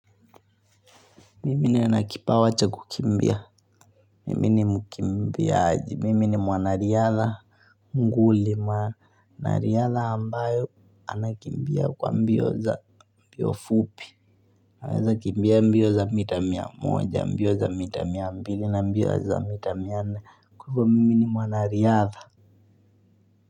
Mimi niwe na kipawa cha kukimbia. Mimi nimukimbiaji. Mimi ni mwanariyadha. Mungu mwanariyadha ambayo anakimbia kwa mbio za mbio fupi. Naweza kimbia mbio za mita miamoja, mbio za mita miambili na mbio za mita mianne. Kwa hivo mimi ni mwanariyadha.